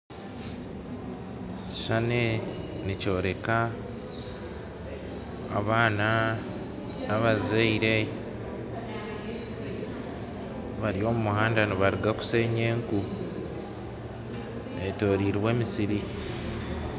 Ekishushani eki nikyoreka abaana n'abazaire bari omu muhanda nibaruga kusheenya eku betoreire emisiri